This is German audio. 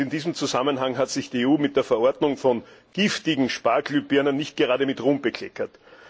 In diesem Zusammenhang hat sich die EU mit der Verordnung von giftigen Energiesparlampen nicht gerade mit Ruhm bekleckert.